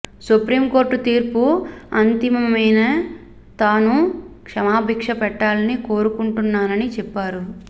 supreme court తీర్పు అంతిమమైనా తాను క్షమాభిక్ష పెట్టాలని కోరుకుంటున్నానని చెప్పారు